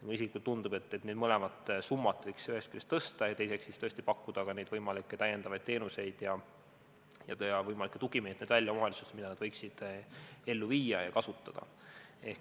Mulle isiklikult tundub, et neid mõlemat summat võiks ühest küljest tõsta ja teiseks võiks tõesti pakkuda täiendavaid teenuseid ja pakkuda omavalitsustele välja tugimeetmeid, mida nad võiksid kasutada.